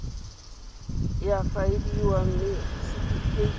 e a faeliwa mme setefikeiti